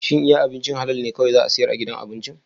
Shin iya ahincin halal ne kawai za a siyar a gidan abincin?